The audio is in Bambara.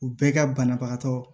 U bɛɛ ka banabagatɔ